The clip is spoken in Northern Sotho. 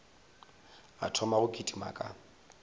a thoma go kitima ka